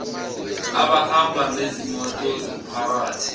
abahamba ngezimoto zomphakathi